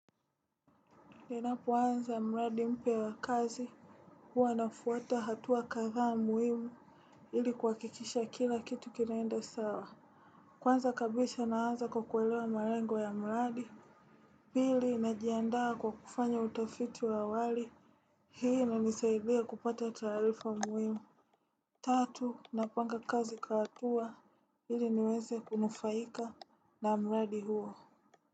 Ninapo anza mradi mpya a kazi huwa nafuata hatua kadhaa muhimu ili kuhakikisha kila kitu kinaenda sawa. Kwanza kabisa na anza kwa kuelewa marengo ya mradi. Pili na jiandaa kwa kufanya utafiti wa awali hii ina nisaidia kupata taarifa muhimu. Tatu na panga kazi kwa hatua ili niweze kunufaika na mradi huo.